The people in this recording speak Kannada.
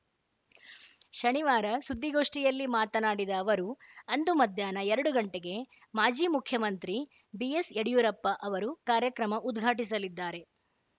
ಶನಿವಾರ ಸುದ್ದಿಗೋಷ್ಠಿಯಲ್ಲಿ ಮಾತನಾಡಿದ ಅವರು ಅಂದು ಮಧ್ಯಾಹ್ನ ಎರಡು ಗಂಟೆಗೆ ಮಾಜಿ ಮುಖ್ಯಮಂತ್ರಿ ಬಿಎಸ್‌ಯಡಿಯೂರಪ್ಪ ಅವರು ಕಾರ್ಯಕ್ರಮ ಉದ್ಘಾಟಿಸಲಿದ್ದಾರೆ